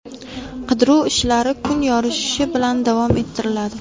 Qidiruv ishlari kun yorishishi bilan davom ettiriladi.